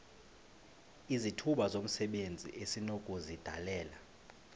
izithuba zomsebenzi esinokuzidalela